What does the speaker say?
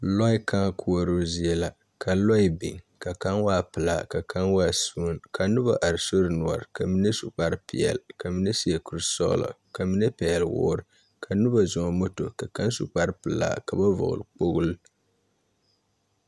Lɔɛ kãã koɔroo zie la ka lɔɛ biŋ ka kaŋ waa pelaa ka kaŋ waa suunk ka noba are sori noɔreŋ ka mine su kparepeɛle ka mine seɛ kurisɔglɔ ka mine pɛgle woore ka noba zɔŋ moto ka kaŋ su kparepelaa ka ba vɔgle kpogli.